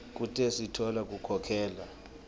kute sitfola kukhokhela